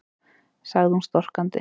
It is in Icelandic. sagði hún storkandi.